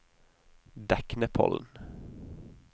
Deknepollen